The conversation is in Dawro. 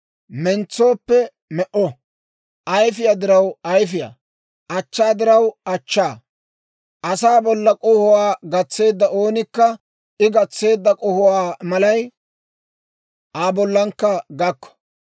Mentsooppe me"o; ayfiyaa diraw ayfiyaa; achchaa diraw achchaa. Asaa bollan k'ohuwaa gatseedda oonikka I gatseedda k'ohuwaa malay Aa bollankka gakko.